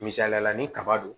Misaliyala ni kaba don